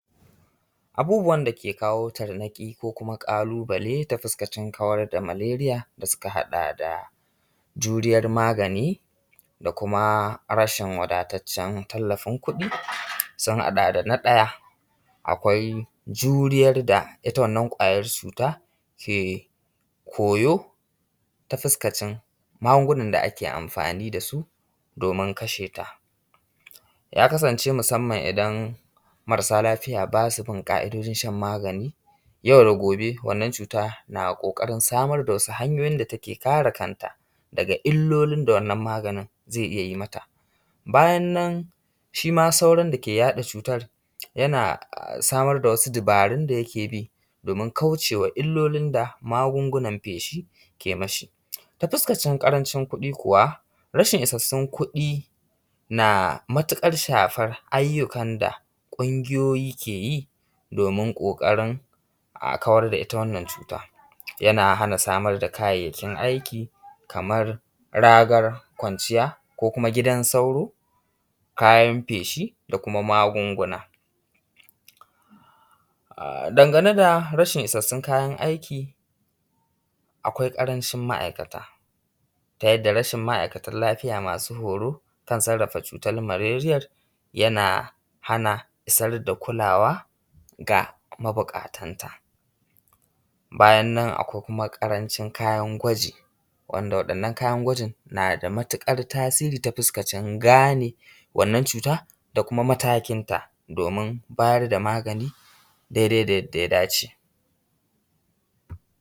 Abubbuwan da ke kawo tarnaƙi ko kuma ƙalubale ta fukaskacin kawar da maleriya da suka haɗa da juriyar magani da kuma rashin wadatacen tallafin kuɗi sun haɗa da, na ɗaya akwai juriyar da ita wannan ƙwayar cutar ke koyo ta fuskacin magungunan da ake amfani da su domin kasheta. Ya kasance musamman idan marasa lafiya ba su bin ƙa’idojin shan magani yau da gobe wannan cuta na ƙoƙarin samar da wasu hanyoyin da ta ke kare kanta daga illolin da wannan maganin zai iya yi mata. Bayan nan shi ma sauron da ke yaɗa wannan cutar yana samar da wasu dubarun da yake bi domin kauce wa illolin magungunan feshi ke ma shi. Ta fuskacin ƙarancin kuɗi kuwa, rashin isassun kuɗi kuwa na matuƙar shafan ayyukan da ƙungiyoyi ke yi domin ƙoƙarin a kawar da ita wannan cuta. Yana hana samar da kayayyakin aiki kamar ragar kwanciya, ko kuma gidan sauro, kayan feshi, da kuma magunguna. Dangane da rashin isashen kayan aiki, akwai ƙarancin ma’aikata ta yadda rashin ma’aikatan lafiya masu horo kan sarrafa cutar maleriyar yana hana isar da kulawa ga mabuƙatan ta. Bayan nan akwai kuma ƙarancin kayan gwaji wanda waɗannan kayan gwajin na da matuƙar tasiri ta fuskacin gane wannan ƙwayoyin cuta da kuma matakin ta domin bayar da magani dai dai da yadda ya da ce.